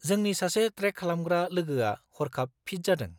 -जोंनि सासे ट्रेक खालामग्रा लोगोआ हरखाब फिथ जादों।